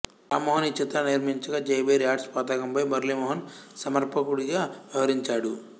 రామ్మోహన్ ఈ చిత్రాన్ని నిర్మించగా జయభేరి ఆర్ట్స్ పతాకంపై మురళీ మోహన్ సమర్పకుడిగా వ్యవహరించాడు